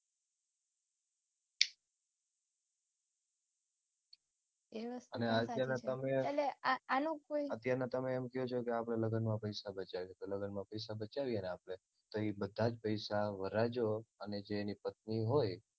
અને અત્યારનાં તમે અત્યારનાં તમે એમ કયો છે કે આપડે લગ્નમાં પૈસા બચાવીએ તો લગ્નમાં પૈસા બચાવીએને આપણે તો ઈ બધાં જ પૈસા વરરાજો અને જે એની પત્ની હોય